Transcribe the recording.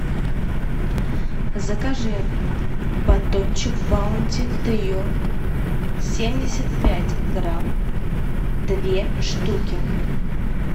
закажи батончик баунти трио семьдесят пять грамм две штуки